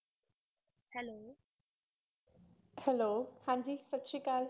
Hello ਹਾਂਜੀ ਸਤਿ ਸ੍ਰੀ ਅਕਾਲ।